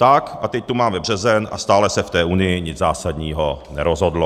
Tak, a teď tu máme březen a stále se v té Unii nic zásadního nerozhodlo.